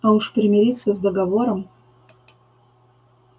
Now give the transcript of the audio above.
а уж примириться с договором